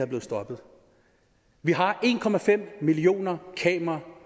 blevet stoppet vi har en millioner kameraer